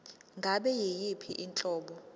ngabe yiyiphi inhlobo